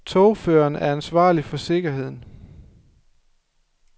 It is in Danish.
Togføreren er ansvarlig for sikkerheden.